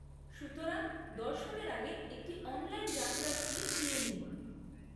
সুতরাং, দর্শনের আগে একটি অনলাইন যাত্রার স্লিপ নিয়ে নিন।